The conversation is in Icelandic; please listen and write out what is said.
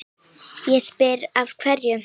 Ég spyr, af hverju?